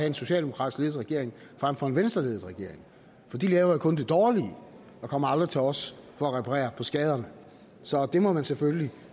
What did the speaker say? en socialdemokratisk ledet regering frem for en venstreledet regering for de laver jo kun det dårlige og kommer aldrig til os for at reparere på skaderne så det må man selvfølgelig